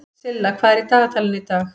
Silla, hvað er í dagatalinu í dag?